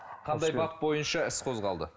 қандай бап бойынша іс қозғалды